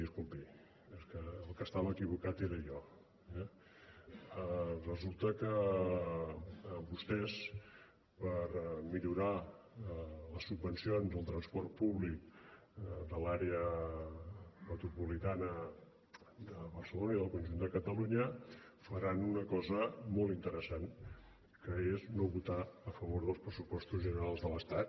era jo eh resulta que vostès per millorar les subvencions del transport públic de l’àrea metropolitana de barcelona i del conjunt de catalunya faran una cosa molt interessant que és no votar a favor dels pressupostos generals de l’estat